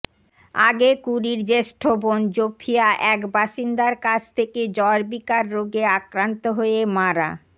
আগে ক্যুরির জ্যেষ্ঠ বোন জোফিয়া এক বাসিন্দার কাছ থেকে জ্বরবিকার রোগে আক্রান্ত হয়ে মারা